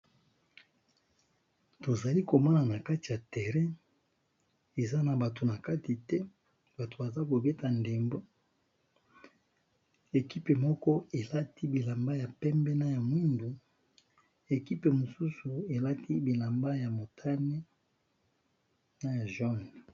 Tozali komona nakati ya terrain eza na kati batu te bazobeta ndembo équipe moko elati bilamba ya pembe na ya mwindo mosusu elati bilamba ya motane naya jaune.